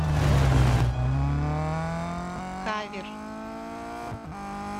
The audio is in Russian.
кавер